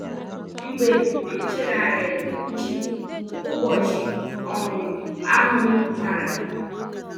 Mgbe m chegharịrị uche, ụbọchị um ahụ bara